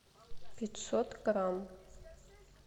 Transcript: пятьсот грамм